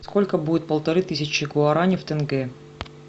сколько будет полторы тысячи гуарани в тенге